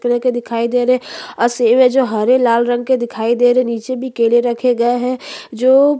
tag दिखाई दे रहे और सेब है जो हरे लाल रंग के दिखाई दे रहे है नीचे भी केले रखे गए है जो--